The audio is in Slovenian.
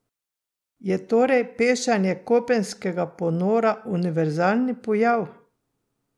Je torej pešanje kopenskega ponora univerzalni pojav?